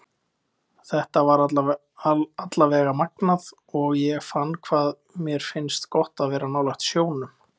Þetta var allavega magnað og ég fann hvað mér finnst gott að vera nálægt sjónum.